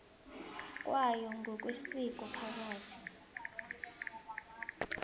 kwayo ngokwesiko phakathi